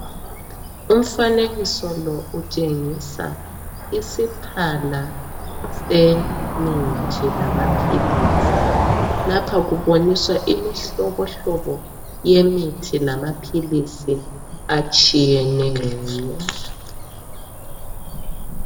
Umfanekiso lo utshengisa isiphala semithi lamaphilisi. Lapha kuboniswa imihlobohlobo yemithi lamaphilisi atshiyeneyo.